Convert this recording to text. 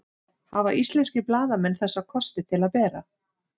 Hafa íslenskir blaðamenn þessa kosti til að bera?